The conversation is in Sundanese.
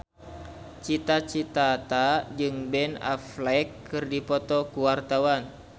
Cita Citata jeung Ben Affleck keur dipoto ku wartawan